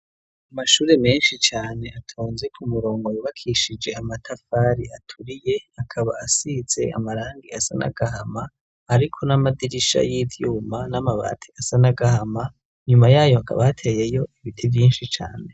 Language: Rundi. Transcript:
Amashure menshi cane atonze ku murongo yubakishije amatafari aturiye akaba asize amarangi asa nagahama ariko n'amadirisha y'ivyuma n'amabati asanagahama nyuma yayo akaba ateyeyo ibiti vyinshi cane.